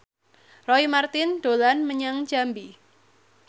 Roy Marten dolan menyang Jambi